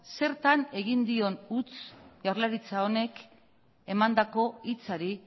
zertan egin dion huts jaurlaritza honek emandako hitzari